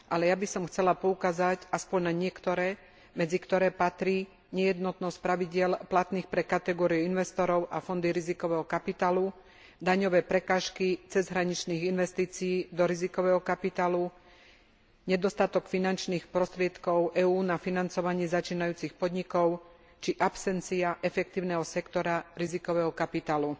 Ja by som však chcela poukázať aspoň na niektoré, medzi ktoré patrí nejednotnosť pravidiel platných pre kategóriu investorov a fondy rizikového kapitálu, daňové prekážky cezhraničných investícií do rizikového kapitálu, nedostatok finančných prostriedkov EÚ na financovanie začínajúcich podnikov či absencia efektívneho sektora rizikového kapitálu.